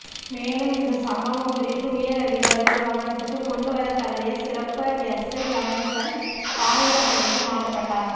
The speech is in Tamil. மேலும் இந்த சம்பவம் குறித்து உயர் அதிகாரிகள் கவனத்துக்கு கொண்டு வர தவறிய சிறப்பு எஸ்ஐ கணேசன் ஆயுதபடைக்கு மாற்றப்பட்டார்